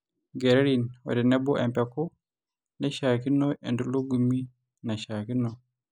inkererin otenebo empeku naishiaakino, entulugumi naishiaakino